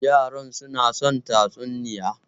Yara suna son tatsuniya.